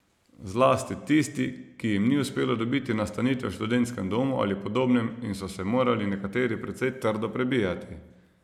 Zlasti tisti, ki jim ni uspelo dobiti nastanitve v študentskem domu ali podobnem in so se morali nekateri precej trdo prebijati.